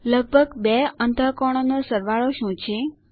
લગભગ બે અંતઃકોણોનો સરવાળો શું છે